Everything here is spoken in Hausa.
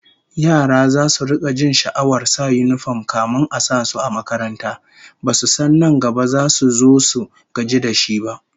Yara zasu rika jin sha'awar sa yinifom kafin a sa su a makaranta, basu san nan gaba zasu zo su gaji da shi ba!